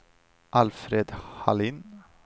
Alfred Hallin